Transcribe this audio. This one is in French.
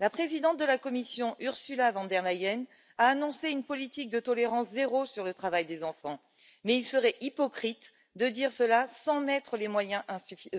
La présidente de la Commission, Ursula von der Leyen, a annoncé une politique de tolérance zéro sur le travail des enfants, mais il serait hypocrite de dire cela sans y mettre les moyens